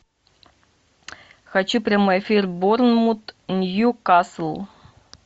хочу прямой эфир борнмут ньюкасл